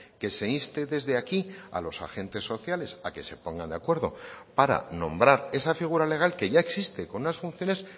que se inste desde aquí a los agentes sociales a que se pongan de acuerdo para nombrar esa figura legal que ya existe con unas funciones